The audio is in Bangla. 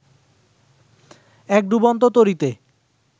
এক ডুবন্ত তরীতে